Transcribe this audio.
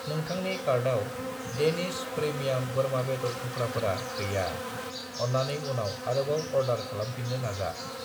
नोंथांनि कार्टआव डेनिश प्रेमियाम बोरमा बेदर थुख्राफोरा गैया, अन्नानै उनाव आरोबाव अर्डार खालामफिन्नो नाजा।